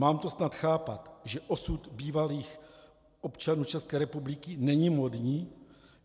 Mám to snad chápat, že osud bývalých občanů České republiky není módní?